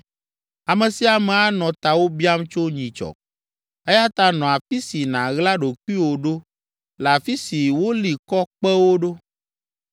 Ame sia ame anɔ tawò biam tso nyitsɔ, eya ta nɔ afi si nàɣla ɖokuiwò ɖo le afi si woli kɔ kpewo ɖo.